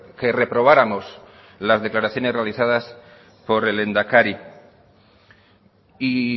que reprobáramos las declaraciones realizadas por el lehendakari y